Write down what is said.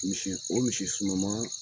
Misi o misi suruman.